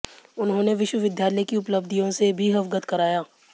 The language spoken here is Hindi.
उन्होंने विश्वविद्यालय की उपलब्धियों से भी अवगत कराया